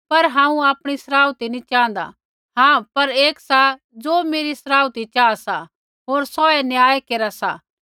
पर हांऊँ आपणी सराउथी नैंई च़ाँहदा हाँ पर एक सा ज़ो मेरी सराउथी चाहा सा होर सौहै न्याय केरा सा